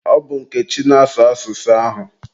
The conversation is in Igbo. Ọ bụ Nkechi na-asụ asụsụ ahụ.